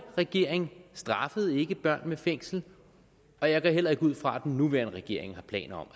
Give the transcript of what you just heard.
regering straffede ikke børn med fængsel og jeg går heller ikke ud fra at den nuværende regering har planer